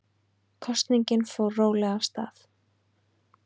Kosningin fór rólega af stað